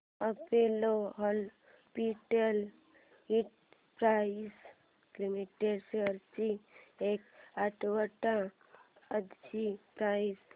Apollo hospitals enterprises limited shares ची एक आठवड्या आधीची प्राइस